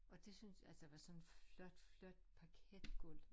Og det synes altså der var sådan et flot flot parketgulv